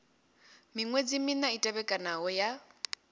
miṅwedzi mina i tevhekanaho ya